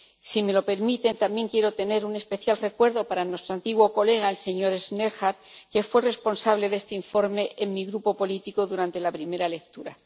Si me lo permiten, también quiero tener un especial recuerdo para nuestro antiguo colega, el señor Schnellhardt, que fue responsable de este informe en mi grupo político durante la primera lectura.